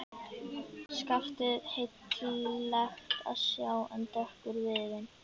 Skaftið heillegt að sjá en dökkur viðurinn.